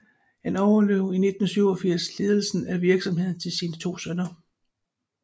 Han overlod i 1987 ledelsen af virksomheden til sine to sønner